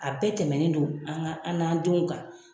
A bɛɛ tɛmɛnen don an ka an n'an denw kan.